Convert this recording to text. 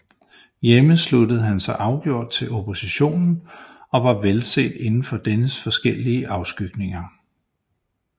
Hjemme sluttede han sig afgjort til oppositionen og var velset inden for dennes forskellige afskygninger